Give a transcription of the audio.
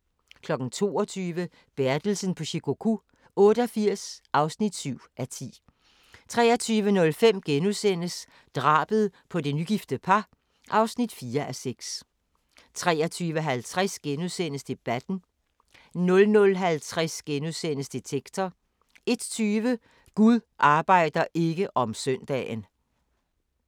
22:00: Bertelsen på Shikoku 88 (7:10) 23:05: Drabet på det nygifte par (4:6)* 23:50: Debatten * 00:50: Detektor * 01:20: Gud arbejder ikke om søndagen!